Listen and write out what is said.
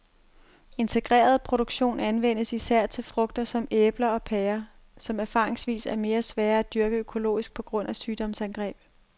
Integreret produktion anvendes især til frugter som æbler og pærer, som erfaringsvis er meget svære at dyrke økologisk på grund af sygdomsangreb.